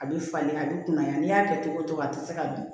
A bɛ falen a bɛ kunnaya n'i y'a kɛ cogo o cogo a tɛ se ka dun